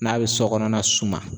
N'a be sɔkɔnɔna suma